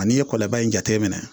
Ani ye kɔlɔba in jateminɛ